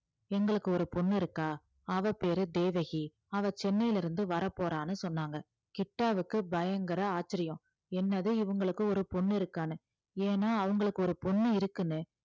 எங்களுக்கு ஒரு பொண்ணு இருக்கா அவ பேரு தேவகி அவ சென்னையிலிருந்து வரப்போறான்னு சொன்னாங்க கிட்டாவுக்கு பயங்கர ஆச்சரியம் என்னது இவங்களுக்கு ஒரு பொண்ணு இருக்கான்னு ஏன்னா அவங்களுக்கு ஒரு பொண்ணு இருக்குன்னு